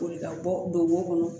Boli ka bɔ don wo kɔnɔ